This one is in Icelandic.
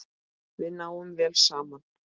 Við náum vel saman.